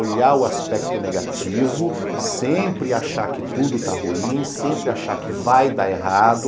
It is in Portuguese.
Olhar o aspecto negativo, sempre achar que tudo está ruim, sempre achar que vai dar errado,